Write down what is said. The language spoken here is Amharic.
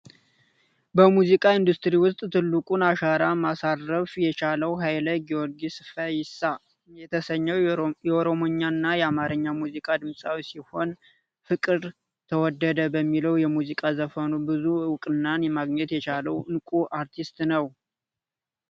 በሙዚቃ ኢንዱስትሪ ውስጥ ትልቁን አሻራ ማሳረፍ የቻለው ሀይለ ጊዮርጊስ ፈይሳ የተሰኘው የኦሮሞኛና የአማርኛ ሙዚቃ ድምፃዊ ሲሆን ፍቅር ተወደደ በሚለው የሙዚቃ ዘፈኑ ብዙ ዕቁናን ማግኘት የቻለ እንቁ አርቲስት ነው።